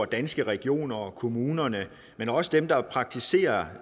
danske regioner og kommunerne men også dem der praktiserer